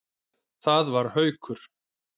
Það var Haukur.